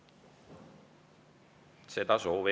Juhtivkomisjoni ettepanek on eelnõu 493 esimene lugemine lõpetada.